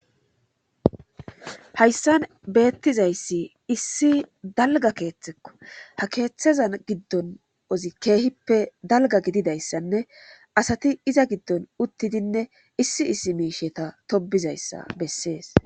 hayssan beettizayssi issi dalga keeththekko ha keeththezan giddon ozi keehippe dalga gididayssanne asati iza giddon uttidinne issi issi miisheta tobizayssa bessees